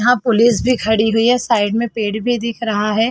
यहाँ पुलिस भी खड़ी हुई है साइड में पेड़ भी दिख रहा है।